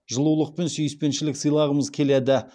жылулық пен сүйіспеншілік сыйлағымыз келеді